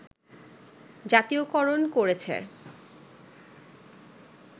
জাতীয়করণ করেছে